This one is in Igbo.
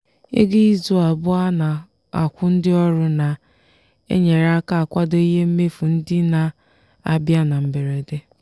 ego izu abụọ a na-akwụ ndị ọrụ na-enyere aka kwado ihe mmefu ndị na-abịa na mberede.